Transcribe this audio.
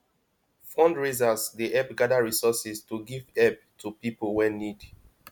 fundraisers dey help gather resources to giv help to pipo wey need